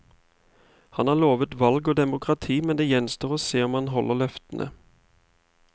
Han har lovet valg og demokrati, men det gjenstår å se om han holder løftene.